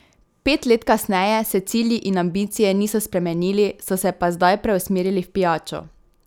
Pet let kasneje se cilji in ambicije niso spremenili, so se pa zdaj preusmerili v pijačo.